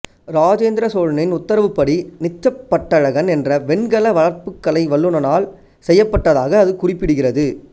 இராஜேந்திரச் சோழனின் உத்தரவுப்படி நிச்சப் பட்டழகன் என்ற வெண்கல வார்ப்புக்கலை வல்லுநனால் செய்யப்பட்டதாக அது குறிப்பிடுகிறது